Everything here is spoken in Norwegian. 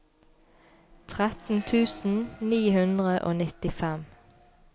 tretten tusen ni hundre og nittifem